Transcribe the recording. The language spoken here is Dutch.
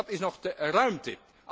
Wat is nog de ruimte?